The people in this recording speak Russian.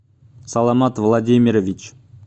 саламат владимирович